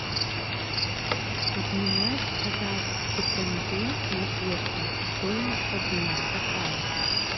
обменять казахский тенге на песо стоимость обмена какая